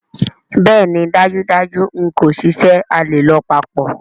Bẹẹni dajudaju n ko ṣiṣẹ, a le lọ papọ̀.